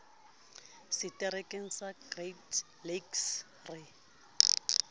seterekeng sa great lakes re